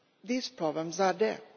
These problems are there.